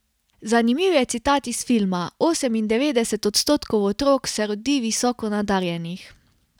Zanimiv je citat iz filma: 'Osemindevetdeset odstotkov otrok se rodi visoko nadarjenih.